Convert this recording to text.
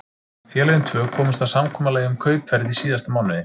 Félögin tvö komust að samkomulagi um kaupverð í síðasta mánuði.